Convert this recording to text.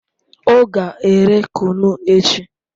O ga ere kunu echi